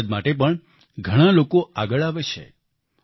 તેમની મદદ માટે પણ ઘણાં લોકો આગળ આવે છે